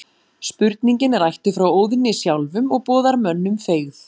Spurningin er ættuð frá Óðni sjálfum og boðar mönnum feigð.